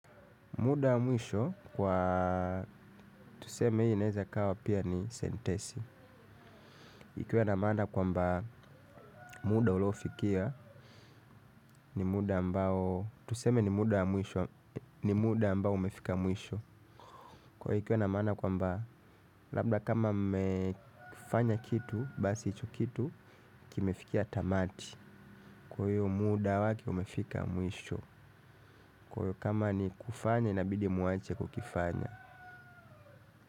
Muda wa mwisho kwa tuseme hii inaeza kawa pia ni sentesi. Ikiwe na maana kwamba muda uliyofikia ni muda ambao tuseme ni muda ambao umefika mwisho. Ikiwa na maana labda kama mmekifanya kitu, basi hicho kitu, kimefikia tamati. Kwa hiyo muda wake umefika mwisho. Kwa hivyo kama ni kufanya inabidi mwache kukifanya.